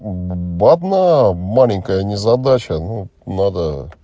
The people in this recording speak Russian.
одна маленькая незадача ну надо